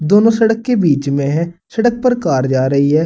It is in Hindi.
दोनों सड़क के बीच में है सड़क पर कार जा रही है।